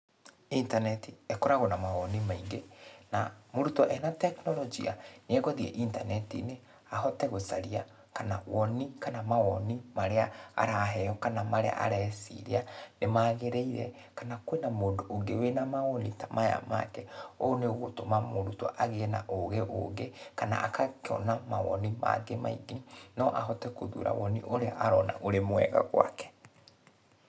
Intaneti ĩkoragwo na mawoni maingĩ na mũrutwo ena tekinoronjia, nĩ eguthiĩ intaneti-inĩ ahote gũcaria kana woni kana mawoni marĩa araheo kana areciria ni magĩrĩire, kana kwĩna mũndũ ũngĩ wĩna mawoni ta maya make. Ũguo nĩ ũgũtũma mũrutwo agĩe na ũgĩ ũngĩ, kana agakĩona mawoni mangĩ maingĩ. No ahote gũthura woni ũrĩa arona ũrĩ mwega gwake.